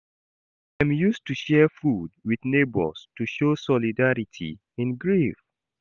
Dem use to share food with neighbors, to show solidarity in grief.